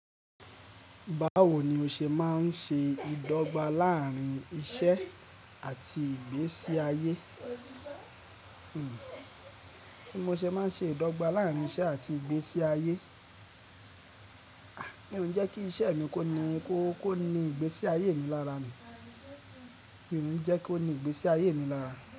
Bawo ni o ṣe máa ń ṣe ìdọ́gba láàárín iṣẹ́ àti ìgbésí ayé? Bí mo ṣe máa ń ṣe ìdọ́gba láàárín iṣẹ́ àti ìgbésí ayé? Mí ó ń jẹ́ kí iṣẹ́ mi kó ni kó ni ìgbésí ayé mi lára ni? Mi ó ń jẹ́ kó ni ìgbésí ayé mi lára?